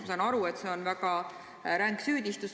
Ma saan aru, et see on väga ränk süüdistus.